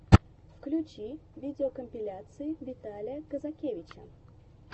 включи видеокомпиляции виталия казакевича